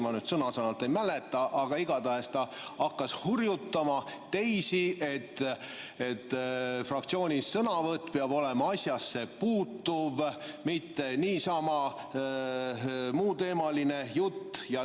Ma nüüd sõna-sõnalt ei mäleta, aga igatahes ta hakkas hurjutama teisi, et fraktsiooni sõnavõtt peab olema asjasse puutuv, mitte niisama muuteemaline jutt.